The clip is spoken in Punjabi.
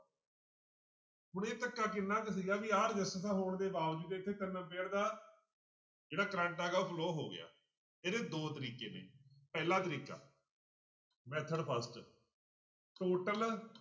ਹੁਣ ਇਹ ਧੱਕਾ ਕਿੰਨਾ ਕੁ ਸੀਗਾ ਵੀ ਆਹ ਰਸਿਸਟੈਂਸਾਂ ਹੋਣ ਦੇ ਬਾਵਜੂਦ ਇੱਥੇ ampere ਜਿਹੜਾ ਕਰੰਟ ਹੈਗਾ ਉਹ flow ਹੋ ਗਿਆ ਇਹਦੇ ਦੋ ਤਰੀਕੇ ਨੇ ਪਹਿਲਾ ਤਰੀਕਾ method first total